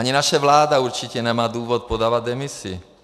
Ani naše vláda určitě nemá důvod podávat demisi.